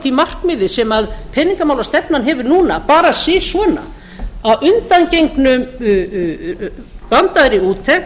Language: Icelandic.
því markmiði sem peningamálastefnan hefur núna bara si svona að undangenginni vandaðri úttekt